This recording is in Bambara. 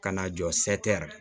Ka na jɔ